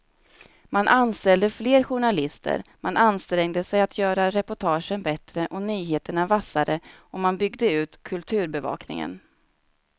Man anställde fler journalister, man ansträngde sig att göra reportagen bättre och nyheterna vassare och man byggde ut kulturbevakningen.